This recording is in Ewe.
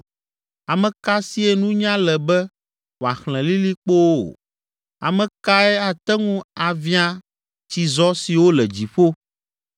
Ame ka sie nunya le be wòaxlẽ lilikpowo? Ame kae ate ŋu aviã tsizɔ siwo le dziƒo,